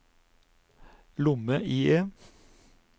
lomme-IE